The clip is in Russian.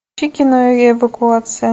включи кино эвакуация